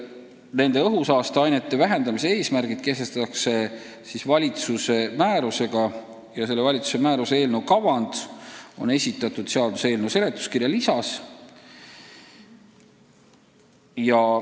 Nende õhusaasteainete vähendamise eesmärgid kehtestatakse valitsuse määrusega ja valitsuse sellesisulise määruse eelnõu kavand on esitatud seaduseelnõu seletuskirja lisas.